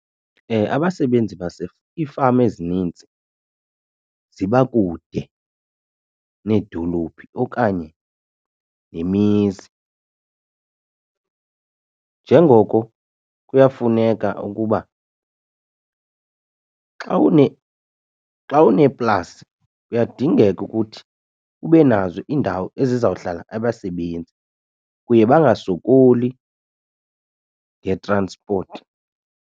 Abasebenzi iifama ezininzi ziba kude needolophi okanye nemizi njengoko kuyafuneka ukuba xa une, xa uneplasi kuyadingeka ukuthi ube nazo iindawo ezizawuhlala abasebenzi kuye bangasokoli ngetransipoti.